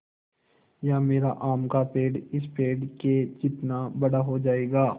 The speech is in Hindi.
या मेरा आम का पेड़ इस पेड़ के जितना बड़ा हो जायेगा